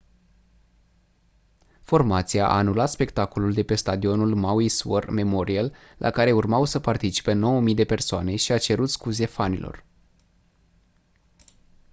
formația a anulat spectacolul de pe stadionul maui's war memorial la care urmau să participe 9 000 de persoane și a cerut scuze fanilor